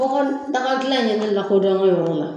Bɔgɔdagadilan in ye ne lakodɔn n ka yɔrɔ la